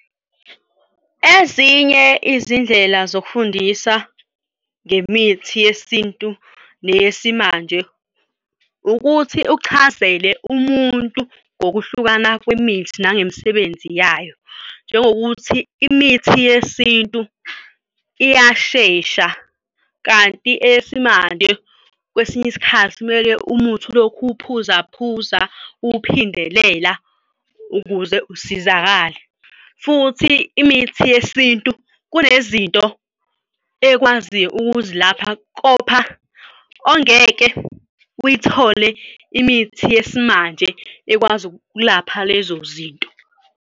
Ezinye izindlela zokufundisa ngemithi yesintu neyesimanje ukuthi uchazele umuntu ngokuhlukana kwemithi nangemisebenzi yayo, njengokuthi imithi yesintu iyashesha kanti eyesimanje kwesinye isikhathi kumele umuthi ulokhu uphuza phuza uphindelela ukuze usizakale. Futhi imithi yesintu kunezinto ekwaziyo ukuzilapha ongeke uyithole imithi yesimanje ekwazi ukulapha lezo zinto.